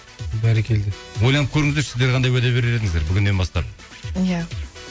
бәрекелді ойланып көріңіздерші сіздер қандай уәде берер едіңіздер бүгіннен бастап иә